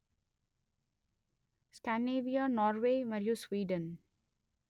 Scandinavia Norway మరియు Sweden